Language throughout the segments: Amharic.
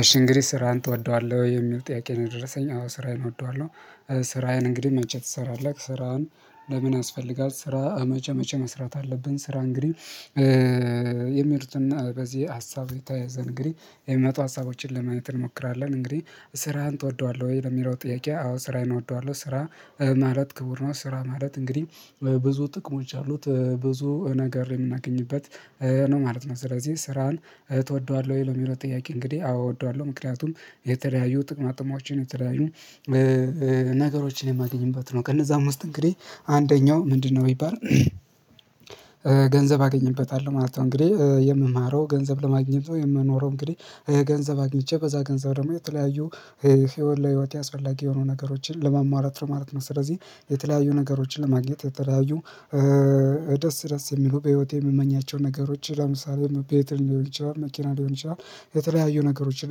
እሺ እንግዲ ስራህን ትወደዋለህ ወይ የሚል ጥያቄ ነው? የደረሰኝ አዎ ስራዬን እወደዋለሁ። ስራዬን እንግዲህ መቼ ትሰራዋለህ ስራህን ለምን ያስፈልጋል? ስራ መቼ መቼ መስራት አለብን። ስራ እንግዲህ የምርትና በዚህ ሀሳብ የተያያዘ እንግዲ የሚመጡ ሀሳቦችን ለማየት እንሞክራለን እንግዲህ ስራህን ትወደዋለህ ወይ የሚለው ጥያቄ አዎ ስራህን እወደዋለሁ? ስራ ማለት ክቡር ነው ስራ ማለት እንግዲህ ብዙ ጥቅሞች አሉት ብዙ ነገር የምናገኝበት ነው ማለት ነው። ስለዚህ ስራን እ ትወደዋለሁ የሚለው ጥያቄ እንግዲህ አወደዋለሁ ምክንያቱም የተለያዩ ጥቅማጥማዎችን የተለያዩ ነገሮችን የማገኝበት ነው። ከእነዛም እንግዲህ አንደኛው ምንድነው? ቢባል ገንዘብ አገኘበታለሁ ማለት ነው። እንግዲህ የምማረው ገንዘብ ለማግኘት ነው የምኖረው እንግዲህ ገንዘብ አግኝቼ በዛ ገንዘብ ደግሞ የተለያዩ ህይወት ለህይወቴ አስፈለጊ የሆኑ ነገሮችን ለሟሟላት ማለት ነው። ስለዚህ የተለያዩ ነገሮችን ለማግኘት የተለያዩ ደስ ደስ የሚሉ በህይወቴ የምመኛቸው ነገሮች ለምሳሌ ቤት ሊሆን ይችላል መኪና ሊሆን ይችላል። የተለያዩ ነገሮችን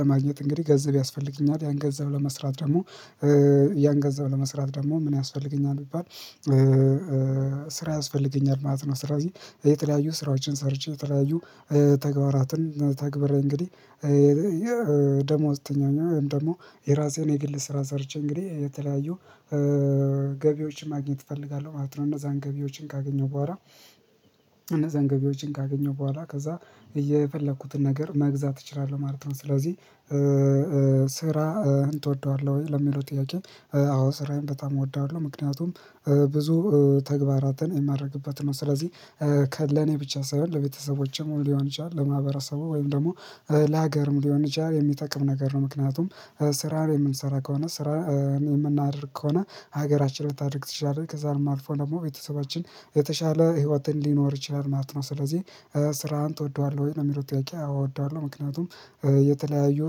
ለማግኘት እንግዲህ ገንዘብ ያስፈልገኛል ያን ገንዘብ ለመስራት ደግሞ ያን ገንዘብ ለመስራት ደግሞ ምን ያስፈልገኛል? ቢባል ስራ ያስፈልገኛል ማለት ነው። ስለዚህ የተለያዩ ስራዎችን ሰርቼ የተለያዩ ተግባራትን ተግብሬ እንግዲህ ደሞዝተኛ ወይም ደግሞ የራሴን የግል ስራ ሰርቼ እንግዲህ የተለያዩ ገቢዎችን ማግኘት እፈልጋለሁ ማለት ነው። እነዛን ገቢዎችን ካገኘው በኋላ እነዛን ገቢዎችን ካገኘሁ በኋላ ከዛ እየፈለኩትን ነገር መግዛት እችላለሁ ማለት ነው። ስለዚህ ስራህን ትወደዋለህ ወይ ለሚለው ጥያቄ? አዎ ስራዬን በጣም እወደዋለሁ። ምክንያቱም ብዙ ተግባራትን የማድርግበት ነው ስለዚህ ለኔ ብቻ ሳይሆን ለቤተሰቦቼም ሊሆን ይችላል ለማህበረሰቡ ወይም ደግሞ ለሀገርም ሊሆን ይችላል የሚጠቅም ነገር ነው ምክንያቱም ስራን የምንሰራ ከሆነ ስራ የምናደርግ ከሆነ ሀገራችን ልታደርግ ትችላለች ከዛም አልፎ ደግሞ ቤተሰባችን የተሻለ ህይወትን ሊኖር ይችላል ማለት ነው። ስለዚህ ስራህን ትወደዋለህ ወይ የሚለው ጥያቄ? እወደዋለሁ ምክንያቱም የተለያዩ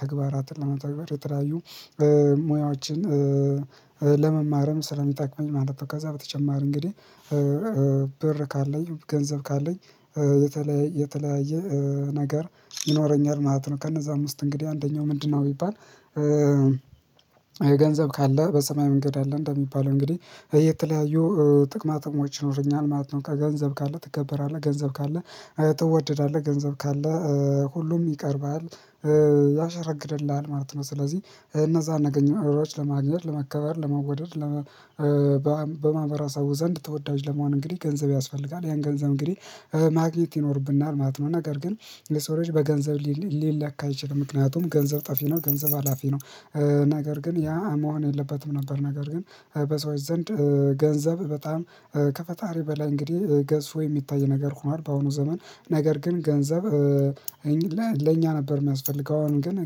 ተግባራትን ለመተግበር የተለያዩ ሙያዎችን ለመማርም ስለሚጠቅመኝ ማለት ነው። ከዛ በተጨማሪ እንግዲህ ካለኝ ገንዘብ ካለኝ የተለያየ ነገር ይኖረኛል ማለት ነው። ከነዛም ውስጥ እንግዲህ አንደኛው ምንድነው? ቢባል የገንዘብ ካለ በሰማይ መንገድ አለ እንደሚባለው እንግዲህ የተለያዩ ጥቅማትሞች ይኖረኛል ማለት ነው። ከገንዘብ ካለ ትከበራለህ ገንዘብ ካለ ትወደዳለህ ገንዘብ ካለ ሁሉም ይቀርብሀል ያሸረግድልሃል ማለት ነው። ስለዚህ እነዛን ነገሮች ለማግኘት ለመከበር ለመወደድ በማህበራሰቡ ዘንድ ተወዳጅ ለመሆን እንግዲህ ገንዘብ ያስፈልጋል ያን ገንዘብ እንግዲህ ማግኘት ይኖርብናል ማለት ነው። ነገር ግን ለሰው ልጅ በገንዘብ ሊለካ አይችልም ምክንያቱም ገንዘብ ጠፊ ነው ገንዘብ ሀላፊ ነው። ነገር ግን ያ መሆን የለበትም ነበር ነገር ግን በሰዎች ዘንድ ገንዘብ በጣም ከፈጣሪ በላይ እንግዲህ ገዝፎ የሚታይ ነገር ሆኗል። በአሁኑ ዘመን ነገር ግን ገንዘብ እኛ ለኛ ነበር የሚያስፈልገው አሁን ግን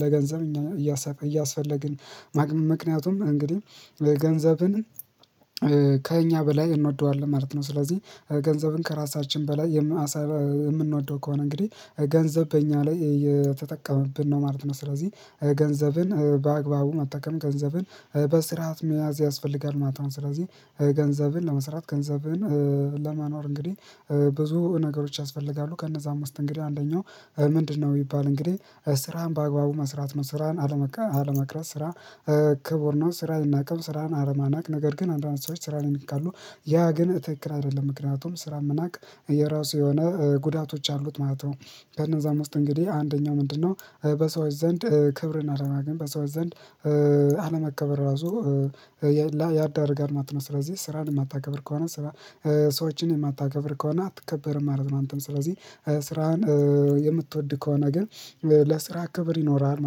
ለገንዘብ እኛ ነን እያሰበ እያሰፈለግን ምክንያቱም እንግዲህ ገንዘብን ከእኛ በላይ እንወደዋለን ማለት ነው። ስለዚህ ገንዘብን ከራሳችን በላይ የምንወደው ከሆነ እንግዲህ ገንዘብ በእኛ ላይ የተጠቀመብን ነው ማለት ነው። ስለዚህ ገንዘብን በአግባቡ መጠቀም ገንዘብን በስርዓት መያዝ ያስፈልጋል ማለት ነው። ስለዚህ ገንዘብን ለመስራት ገንዘብን ለመኖር እንግዲህ ብዙ ነገሮች ያስፈልጋሉ ከነዛም ውስጥ እንግዲህ አንደኛው ምንድነው ቢባል እንግዲህ ስራህን በአግባቡ መስራት ነው። ስራህን አለመቅረት ስራ ክቡር ነው። ስራ አይናቅም። ስራን አለመናቅ ነገር ግን አንዳንድ ሰዎች ስራን ይንቃሉ ያ ግን ትክክል አይደለም ምክንያቱም ስራን መናቅ የራሱ የሆነ ጉዳቶች አሉት ማለት ነው። ከነዛም ውስጥ እንግዲህ አንደኛው ምንድነው? በሰዎች ዘንድ ክብርን አለማግኘት በሰዎች ዘንድ አለመከበር ራሱ ያዳርጋል ማለት ነው። ስለዚህ ስራን የማታከብር ከሆነ ሰዎችን የማታከብር ከሆነ አትከበርም ማለት ነው። አንተም ስለዚህ ስራህን የምትወድ ከሆነ ግን ለስራ ክብር ይኖርሀል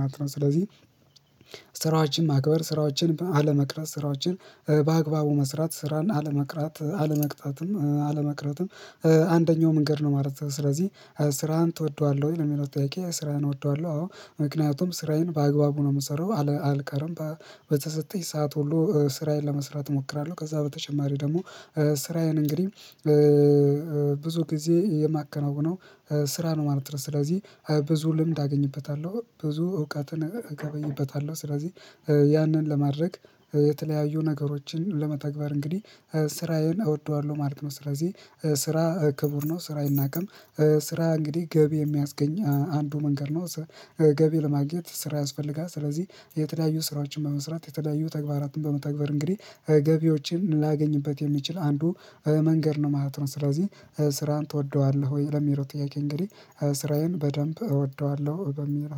ማለት ነው። ስለዚህ ስራዎችን ማክበር ስራዎችን አለመቅረት ስራዎችን በአግባቡ መስራት ስራን አለመቅረት አለመቅጣትም አለመቅረትም አንደኛው መንገድ ነው። ማለት ነው። ስለዚህ ስራህን ትወደዋለህ ወይ ለሚለው ጥያቄ? ስራህን እወደዋለሁ አዎ ምክንያቱም ስራዬን በአግባቡ ነው የምሰራው አልቀረም በተሰጠኝ ሰዓት ሁሉ ስራዬን ለመስራት እሞክራለሁ። ከዛ በተጨማሪ ደግሞ ስራዬን እንግዲህ ብዙ ጊዜ የማከናውነው ስራ ነው ማለት ነው። ስለዚህ ብዙ ልምድ አገኝበታለሁ ብዙ እውቀትን እገበይበታለሁ ስለዚህ ያንን ለማድረግ የተለያዩ ነገሮችን ለመተግበር እንግዲህ ስራዬን እወደዋለሁ ማለት ነው። ስለዚህ ስራ ክቡር ነው። ስራ አይናቀም። ስራ እንግዲህ ገቢ የሚያስገኝ አንዱ መንገድ ነው። ገቢ ለማግኘት ስራ ያስፈልጋል። ስለዚህ የተለያዩ ስራዎችን በመስራት የተለያዩ ተግባራትን በመተግበር እንግዲህ ገቢዎችን ላገኝበት የሚችል አንዱ መንገድ ነው ማለት ነው። ስለዚህ ስራን ትወደዋለህ ወይ ለሚለው ጥያቄ? እንግዲህ ስራዬን በደንብ እወደዋለሁ በሚል